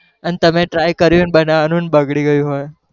અને તમે try કર્યું હોય બનવાનું અને બગડી ગયું હોય.